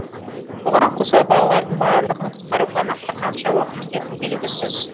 бұған қоса балалардың барлығын құтқаруға нақты қанша уақыт кететінін белгісіз